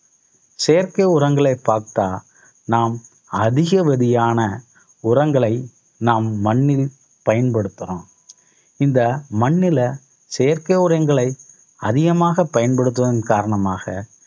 செயற்கை உரங்களை பார்த்தா நாம் அதிகவதியான உரங்களை நாம் மண்ணில் பயன்படுத்துறோம். இந்த மண்ணுல செயற்கை உரங்களை அதிகமாக பயன்படுத்துவதன் காரணமாக